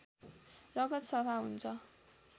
रगत सफा हुन्छ